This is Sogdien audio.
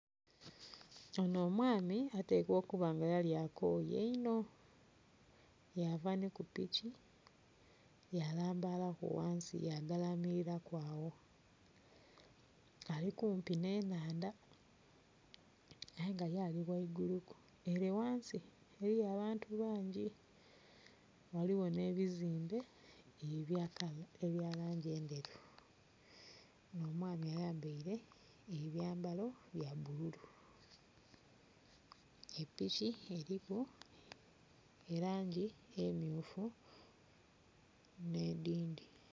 Ono omwami atekwa okuba nga yli akooye inho, yaava ni ku piki yalambalaku ghansi yagalamirira ku agho. Ali kumpi nh'enhandha. Aye nga ye ali ghaiguluku ere ghansi eriyo abantu bangi ghaligho n'ebizimbe ebya langi enderu. Omwami ayambaile ebyambalo bya bululu. Epiki eriku langi emyufu n'edhindhi.